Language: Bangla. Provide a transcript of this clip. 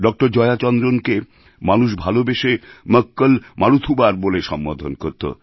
ডক্টর জয়া চন্দ্রনকে মানুষ ভালোবেসে মক্কল মারুথুবার বলে সম্বোধন করত